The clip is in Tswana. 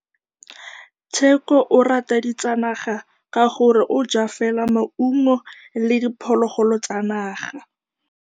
Tshekô o rata ditsanaga ka gore o ja fela maungo le diphologolo tsa naga.